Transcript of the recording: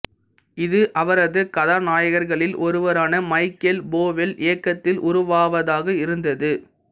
இது அவரது கதாநாயகர்களில் ஒருவரான மைக்கேல் போவெல் இயக்கத்தில் உருவாவதாக இருந்தது